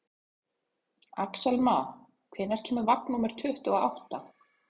Axelma, hvenær kemur vagn númer tuttugu og átta?